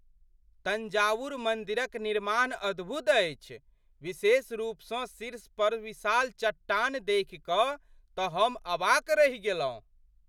तंजावुर मन्दिरक निर्माण अद्भुत अछि, विशेष रूपसँ शीर्षपर विशाल चट्टान देखि कऽ तऽ हम अवाक रहि गेलहुँ।